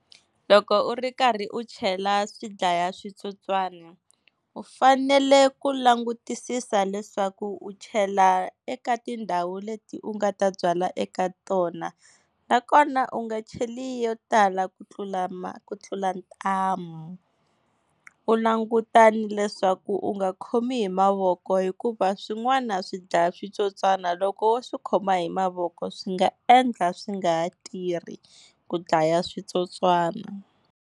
Loko u ri karhi u chela swidlayaswitsotswani u fanele ku langutisisa leswaku u chela eka tindhawu leti u nga ta byala eka tona, nakona u nga cheli yo tala ku tlula ku tlula ntamu. U languta ni leswaku u nga khomi hi mavoko hikuva swin'wana swidlayaswitsotswana loko wo swi khoma hi mavoko swi nga endla swi nga ha tirhi ku dlaya switsotswana.